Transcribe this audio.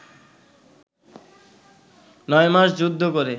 নয় মাস যুদ্ধ করে